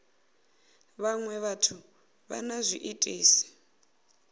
vhaṅwe vhathu vha na zwiitisi